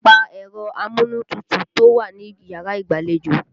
Pa ẹ̀rọ amúnútutù tó wà níyàrá ìgbàlejò!